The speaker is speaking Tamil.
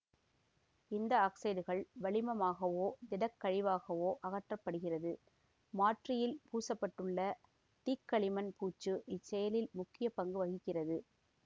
இந்த ஆக்சைடுகள் வளிமமாகவோ திட கழிவாகவோ அகற்றப்படுகிறது மாற்றியில் பூசப்பட்டுள்ள தீக்களிமண் பூச்சு இச்செயலில் முக்கிய பங்கு வகிக்கிறது